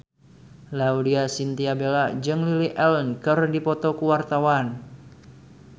Laudya Chintya Bella jeung Lily Allen keur dipoto ku wartawan